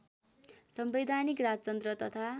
संवैधानिक राजतन्त्र तथा